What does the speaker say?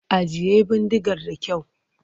Ajiye bindigar da kyau!